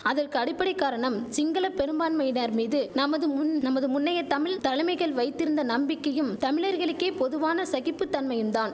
அதற்கு அடிப்படை காரணம் சிங்கள பெரும்பான்மையினர் மீது நமது முன் நமது முன்னைய தமிழ் தலைமைகள் வைத்திருந்த நம்பிக்கையும் தமிழர்களுக்கே பொதுவான சகிப்பு தன்மையும்தான்